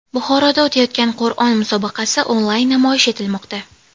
Buxoroda o‘tayotgan Qur’on musobaqasi onlayn namoyish etilmoqda.